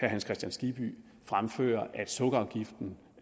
hans kristian skibby fremfører at sukkerafgiften